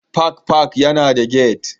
Park Park yana da gate